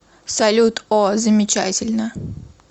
салют о замечательно